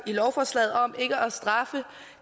i lovforslaget om ikke at straffe